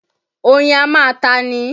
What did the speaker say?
Oyin á máa ta ni.